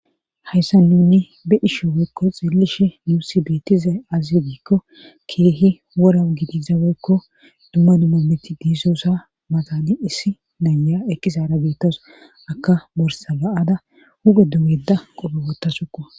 hayssa nuni be ishe woykko xiellishe muusi beetiza azidiikko keehi worau gidizaweykko dumma dumma meti diizoosa maxani issi naya ekkisaara beettaso akka borsaba7ada huga dumeda qofhe wottasukuwa